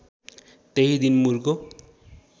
त्यही दिन मुरको